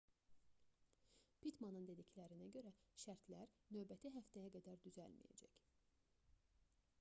pittmanın dediklərinə görə şərtlər növbəti həftəyə qədər düzəlməyəcək